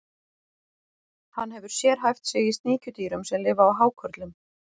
Hann hefur sérhæft sig í sníkjudýrum sem lifa á hákörlum.